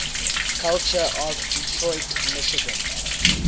culture of detroit michigan